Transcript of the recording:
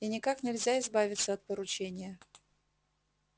и никак нельзя избавиться от поручения